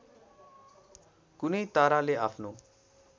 कुनै ताराले आफ्नो